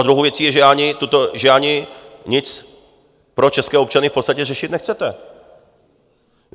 A druhou věcí je, že ani nic pro české občany v podstatě řešit nechcete.